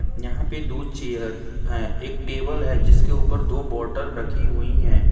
यहां पे दो चेयर ऐ एक टेबल है जिसके ऊपर दो बॉटल रखी हुई है।